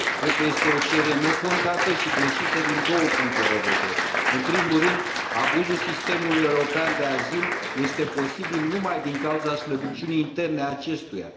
Cred că este o cerere nefondată și greșită din două punte de vedere în primul rând, abuzul sistemului european de azil este posibil numai din cauza slăbiciunii interne a acestuia.